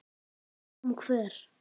Kom hver?